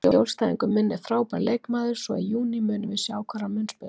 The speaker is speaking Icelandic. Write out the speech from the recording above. Í raun eru þau óafsakanleg markmið og munu augljóslega ekki bæta heiminn fyrir nokkurn mann.